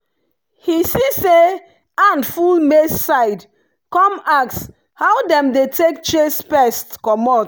he see say ant full maize side come ask how dem dey take chase pest comot.